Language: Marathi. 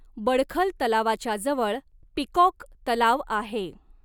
बडखल तलावाच्या जवळ पिकॉक तलाव आहे.